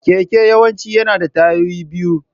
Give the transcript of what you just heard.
Keke yawanci yana da tayoyi biyu.